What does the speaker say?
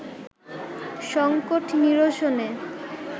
সংকট নিরসনে